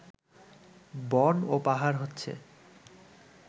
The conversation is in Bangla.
বন এবং পাহাড় হচ্ছে